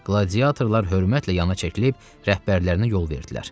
Qladiatorlar hörmətlə yana çəkilib rəhbərlərinə yol verdilər.